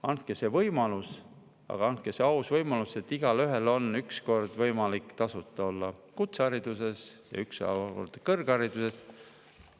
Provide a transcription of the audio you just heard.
Andke neile see võimalus, andke see aus võimalus, et igaüks üks kord tasuta kutsehariduse ja üks kord kõrghariduse.